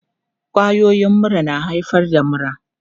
Kwayoyin mura na haifar da mura.